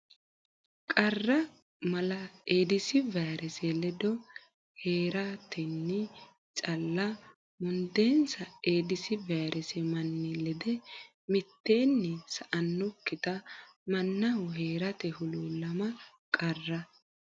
Qarra Mala Eedis vayrese Ledo hee ratenni calla mundeensa Eedisi vayirese manni lede mitteenni sa annokkita mannaho hee rate huluullama Qarra.